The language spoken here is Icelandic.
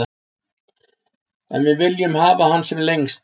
En við viljum hafa hann sem lengst.